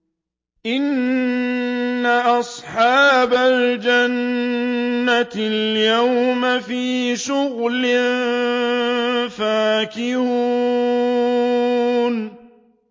إِنَّ أَصْحَابَ الْجَنَّةِ الْيَوْمَ فِي شُغُلٍ فَاكِهُونَ